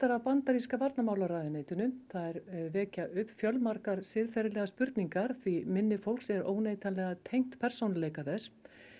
af bandaríska varnarmálaráðuneytinu þær vekja upp fjölmargar siðferðislegar spurningar því minni fólks er óneitanlega tengt persónuleika þess